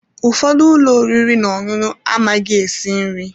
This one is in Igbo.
Ụfọdụ ụlọ oriri na ọṅụṅụ amaghị esi nri.